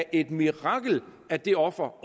et mirakel at det offer